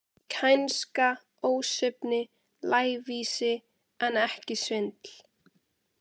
Kænska, ósvífni, lævísi, en ekki svindl.